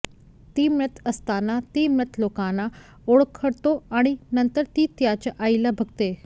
ती मृत असताना ती मृत लोकांना ओळखतो आणि नंतर ती तिच्या आईला बघते